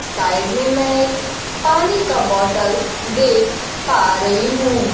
Side में मैं एक पानी का बॉटल देख पा रही हूं।